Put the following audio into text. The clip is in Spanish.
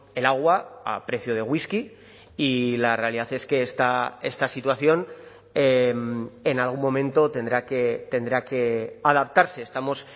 el agua a precio de whisky y la realidad es que esta situación en algún momento tendrá que tendrá que adaptarse estamos